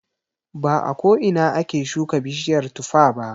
Ba a ko ina ake shuka bishiyar tuffa ba.